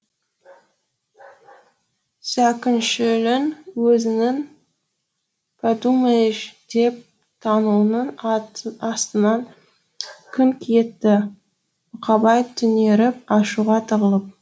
зәкүншілін өзінің пәдумаеш деп танауының астынан күңк етті бұқабай түнеріп ашуға тығылып